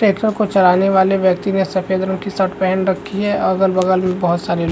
tractor को चलाने वाले व्यक्ति ने सफ़ेद रंग की शर्ट पहन रखी है अगल बगल भी बहुत सारे लोग --